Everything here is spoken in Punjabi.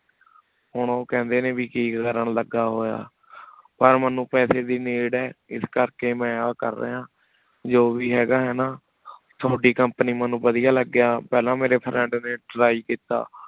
ਹੁਣ ਓਹ ਕੇਹੰਡੀ ਨੀ ਕੀ ਕਰਨ ਲਗਾ ਹੋਯਾ ਪਰ ਮੇਨੂ ਪੇਸੀ ਦੇ need ਹੈ ਇਸ ਕਰ ਕੀ ਮੈਂ ਆ ਕਰ ਰਿਯ ਜੋ ਵੇ ਹੇਗਾ ਹੈਨਾ ਤਵਾਦੀ company ਮੇਨੂ ਵਾਦਿਯ ਲਾਗ੍ਯ ਪਹਲਾ ਮੇਰੇ friend ਨੀ try ਕੀਤਾ